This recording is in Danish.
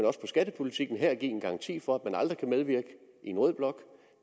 også på skattepolitikken give en garanti for at man aldrig kan medvirke i en rød blok